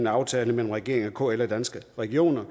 aftale mellem regeringen og kl og danske regioner